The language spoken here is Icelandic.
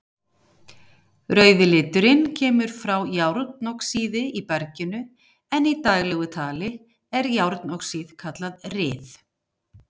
Rauði liturinn kemur frá járnoxíði í berginu en í daglegu tali er járnoxíð kallað ryð.